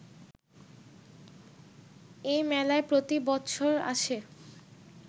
এ মেলায় প্রতি বৎসর আসে